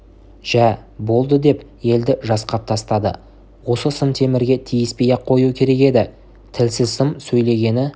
жә болды деп елді жасқап тастады осы сым темірге тиіспей-ақ қою керек еді тілсіз сым сөйлегені